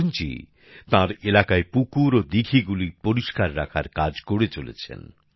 অরুন জী তার এলাকায় পুকুর ও দীঘিগুলি পরিষ্কার রাখার কাজ করে চলেছেন